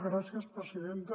gràcies presidenta